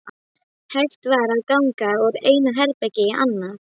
Hægt var að ganga úr einu herbergi í annað.